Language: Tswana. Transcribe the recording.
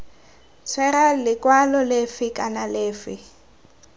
tshwera lekwalo lefe kana lefe